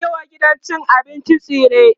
zanyi wa gidan cin abincin tsire